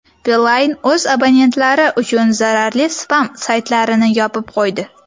Beeline o‘z abonentlari uchun zararli spam-saytlarni yopib qo‘ydi.